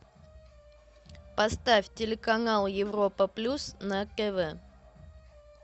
поставь телеканал европа плюс на тв